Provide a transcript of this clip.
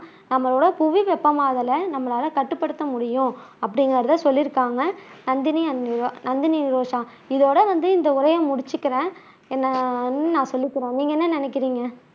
புவி வெப்பமாதலை நம்மளால கட்டுப்படுத்த முடியும் அப்படிங்குறதை சொல்லியிருக்காங்க நந்தினி நந்தினி நிரோஷா இதோட வந்து இந்த உரையை முடிச்சுக்குறேன் என்ன நான் சொல்லிக்கிறேன் நீங்க என்ன நினைக்குறீங்க